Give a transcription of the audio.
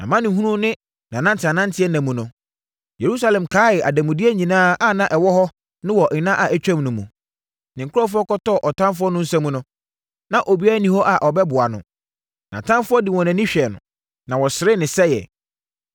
Nʼamanehunu ne ananteananteɛ nna mu no, Yerusalem kae ademudeɛ nyinaa a na ɛwɔ no wɔ nna a atwam no mu. Ne nkurɔfoɔ kɔtɔɔ ɔtamfoɔ no nsa mu no, na obiara nni hɔ a ɔbɛboa no. Nʼatamfoɔ de wɔn ani hwɛɛ no na wɔseree ne sɛeɛ.